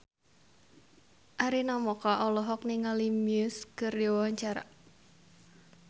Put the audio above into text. Arina Mocca olohok ningali Muse keur diwawancara